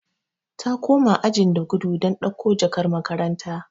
Ta koma ajin da gudu don dauko jakar makaranta.